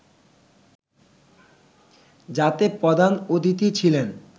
যাতে প্রধান অতিথি ছিলেন